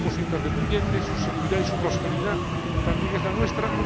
Somos interdependientes, su seguridad y su prosperidad también es la nuestra.